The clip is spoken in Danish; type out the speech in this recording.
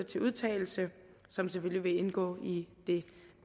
til udtalelse som selvfølgelig vil indgå i det